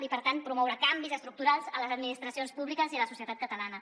i per tant promoure canvis estructurals a les administracions públiques i a la societat catalana